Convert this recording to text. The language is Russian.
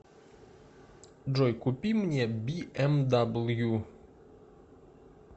джой купи мне би эм дабл ю